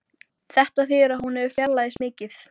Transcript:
Þetta þýðir að hún hefur fjarlægst mikið